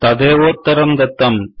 तदेवोत्तरं दत्तम्